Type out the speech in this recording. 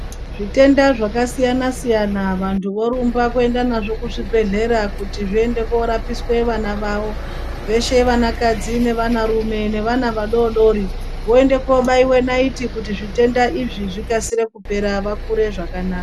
Zvitenda zvakasiyana siyana vantu vorumba kuenda nazvo kuzvibhedhleya kuti zviende korapiswe vana vavo veshe vanakadzi nevanarume nevana vadodori voende kobaiwe naiti kuti zvitenda izvi zvikasire kuoera vakure zvakanaka.